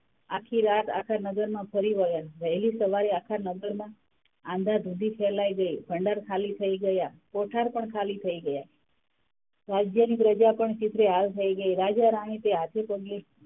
આખી રાત, આખા નગરમાં ફરી વર્યા વહેલી સવારે આખા નગરમાં આંધા - દુંધી ફેલાય ગય, ભંડાર ખાલી થય ગયાં, કોઠાર પણ ખાલી થય ગયાં રાજ્ય ની પ્રજા પણ ચીતરેહાલ થય ગયી, રાજા રાણી તે હાથે પગે,